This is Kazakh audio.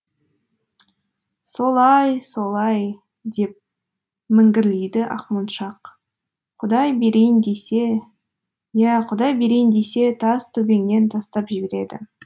солай солай деп міңгірлейді ақмоншақ құдай берейін десе иә құдай берейін десе тас төбеңнен тастап жібереді